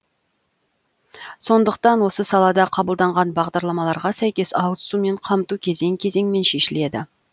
сондықтан осы салада қабылданған бағдарламаларға сәйкес ауызсумен қамту кезең кезеңмен шешіледі